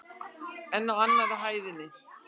En á annarri hæðinni?